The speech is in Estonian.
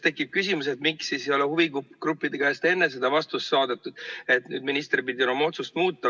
Tekib küsimus, miks siis ei ole huvigruppide käest enne seda vastust saadud, et minister pidi oma otsust muutma.